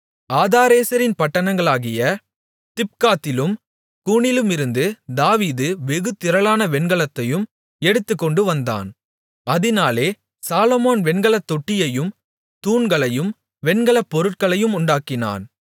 ஆதாரேசரின் பட்டணங்களாகிய திப்காத்திலும் கூனிலுமிருந்து தாவீது வெகு திரளான வெண்கலத்தையும் எடுத்துக்கொண்டு வந்தான் அதினாலே சாலொமோன் வெண்கலத் தொட்டியையும் தூண்களையும் வெண்கலப் பொருட்களையும் உண்டாக்கினான்